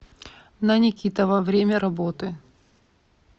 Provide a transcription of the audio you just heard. на никитова время работы